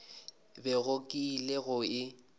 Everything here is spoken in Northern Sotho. bego ke ile go e